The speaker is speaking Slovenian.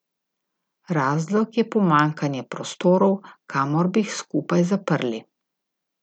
Razlog je pomanjkanje prostorov, kamor bi jih skupaj zaprli.